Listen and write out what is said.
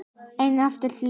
Einhæft líf.